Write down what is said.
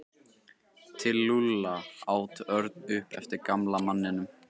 Til Lúlla? át Örn upp eftir gamla manninum.